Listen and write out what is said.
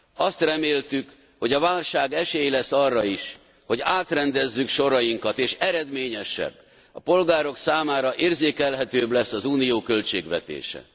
Azt reméltük, hogy a válság esély lesz arra is, hogy átrendezzük sorainkat, és eredményesebb, a polgárok számára érzékelhetőbb lesz az Unió költségvetése.